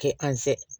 Kɛ an sɛ